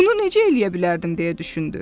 Bunu necə eləyə bilərdim deyə düşündü.